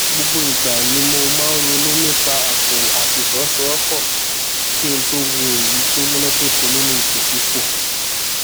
gbogbo ìgbà ni mo máa ń ronú nípa ààbò àti ìfọwọsowọpọ kí n tó wo èyí tó múnádóko nínú ipòkípò